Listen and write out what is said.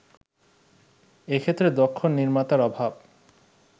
এক্ষেত্রে দক্ষ নির্মাতার অভাব